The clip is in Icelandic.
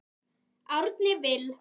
Árni Vill.